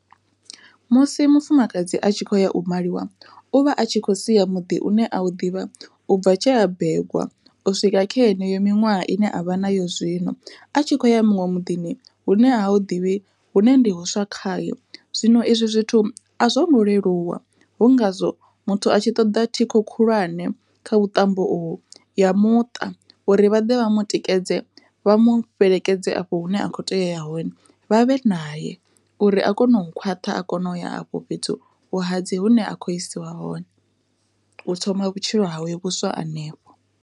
Musi mufumakadzi a tshi khou ya u maliwa uvha a tshi khou sia muḓi une a u ḓivha u bva tshea begwa, u swika kha heneyo miṅwaha ine a vha nayo zwino a tshi khou ya muṅwe miḓini hune ha u ḓivhi hune ndi huswa khae zwino izwi zwithu a zwo ngo leluwa hu ngazwo muthu a tshi ṱoḓa thikho khulwane kha vhuṱambo uvhu ya muṱa uri vhaḓe vha mutikedze vha mu fhelekedze afho hune a khou teya uya hone uri vha vhe naye uri a kone u khwaṱha a kona u ya afho fhethu vhuhadzi hune a khou isiwa hone u thoma vhutshilo hawe vhuswa hanefho.